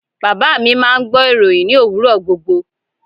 Baba mi máà ń gbọ́ ìròhìn ní òwúrọ̀ gbogbo.